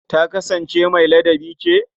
Ta kasansance mai ladabi ce?